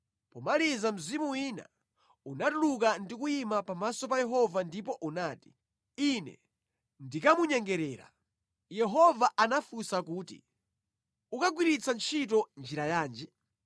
Pomaliza mzimu wina unatuluka ndi kuyima pamaso pa Yehova ndipo unati, “Ine ndikamunyengerera!” Yehova anafunsa kuti, “Ukagwiritsa ntchito njira yanji?”